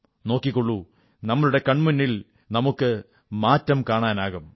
നോക്കിക്കോളൂ നമ്മുടെ കൺമുന്നിൽ നമുക്ക് മാറ്റം കാണാനാകും